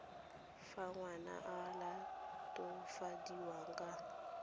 fa ngwana a latofadiwa ka